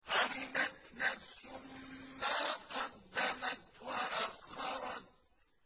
عَلِمَتْ نَفْسٌ مَّا قَدَّمَتْ وَأَخَّرَتْ